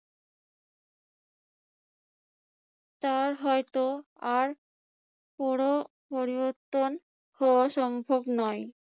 তা হয়তো আর পুর~পরিবর্তন হওয়া সম্ভব নয়।